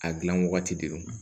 A gilan wagati de don